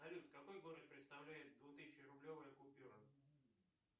салют какой город представляет двух тысячи рублевая купюра